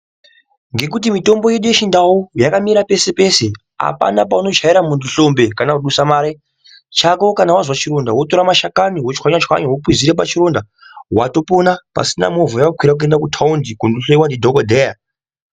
Ngekuti mitombo yedu yechindau yakamera pese pese apana paunochayira mundu hlombe kana kudusa mare chako kana wazwa chironda wotora mashakani wotswanya tswanya wokwizira pachironda watopona pasina movha yawakwira kuenda kutaundi kundohloyiwa ndidhokodheya.